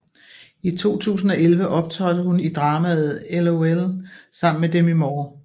I 2011 optrådte hun i dramaet LOL sammen med Demi Moore